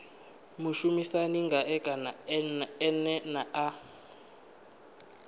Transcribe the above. mushumisani ngae kana ene a